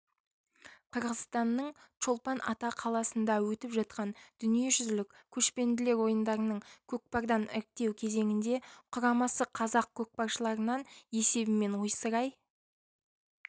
қырғызстанның чолпан-ата қаласында өтіп жатқан дүниежүзілік көшпенділер ойындарының көкпардан іріктеу кезеңінде құрамасы қазақ көкпаршыларынан есебімен ойсырай